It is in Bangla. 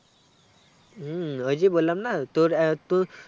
হুম ওই যে বলাম না তোর আহ তু